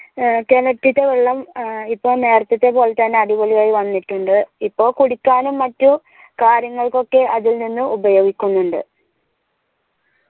കെണറ്റില്ലേ വെള്ളം ഇപ്പൊ നേരത്തെത്തെ പോലെ തന്നെ അടിപൊളിയായി വന്നിട്ടുണ്ട് ഇപ്പൊ കുടിക്കാനും മറ്റു കാര്യങ്ങൾക്കൊക്കെ അതിൽ നിന്ന് ഉപോയോഗിക്കുന്നുണ്ട്